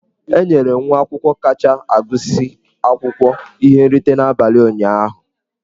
E nyere nwa akwụkwọ kacha agụsị akwụkwọ ihe nrite n'abalị ụnyahụ.